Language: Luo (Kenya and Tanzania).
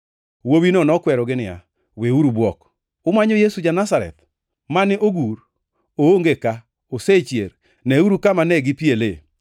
Wuowino nokwerogi niya, “Weuru bwok. Umanyo Yesu ja-Nazareth, mane ogur. Oonge ka, osechier! Neuru kamane gipiele.